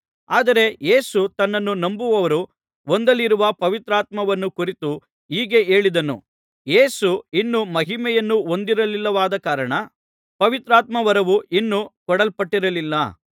ಆದರೆ ಯೇಸು ತನ್ನನ್ನು ನಂಬುವವರು ಹೊಂದಲಿರುವ ಪವಿತ್ರಾತ್ಮವರವನ್ನು ಕುರಿತು ಹೀಗೆ ಹೇಳಿದನು ಯೇಸು ಇನ್ನೂ ಮಹಿಮೆಯನ್ನು ಹೊಂದಿರಲಿಲ್ಲವಾದ ಕಾರಣ ಪವಿತ್ರಾತ್ಮವರವು ಇನ್ನೂ ಕೊಡಲ್ಪಟ್ಟಿರಲಿಲ್ಲ